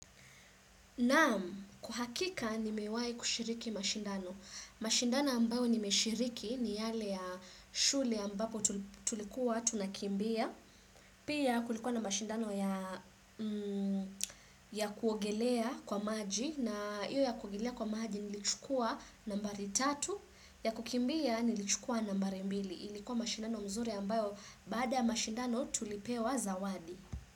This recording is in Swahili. Naam, kwa hakika nimewai kushiriki mashindano. Mashindano ambayo nimeshiriki ni yale ya shule ambapo tulikuwa tunakimbia. Pia kulikuwa na mashindano ya kuogelea kwa maji na hiyo ya kuogelea kwa maji nilichukua nambari tatu, ya kukimbia nilichukua nambari mbili. Ilikuwa mashindano mzuri ambayo baada ya mashindano tulipewa zawadi.